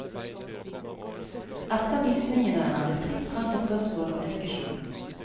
Etter visningene er det fritt frem for spørsmål og diskusjon.